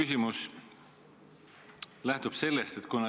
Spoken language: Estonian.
Aitäh!